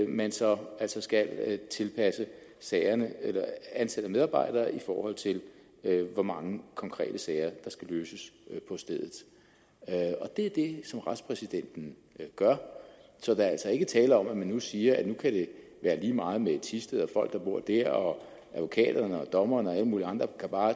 man så altså skal tilpasse sagerne eller ansætte medarbejdere i forhold til hvor mange konkrete sager der skal løses på stedet det er det som retspræsidenten gør så der er altså ikke tale om at man nu siger at nu kan det være lige meget med thisted og folk der bor der og at advokaterne og dommerne og alle mulige andre bare